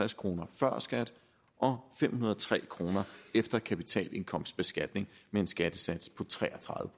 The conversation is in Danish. kroner før skat og fem hundrede og tre kroner efter kapitalindkomstbeskatning med en skattesats på tre og tredive